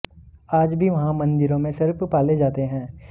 आज भी वहाँ मंदिरों में सर्प पाले जाते हैं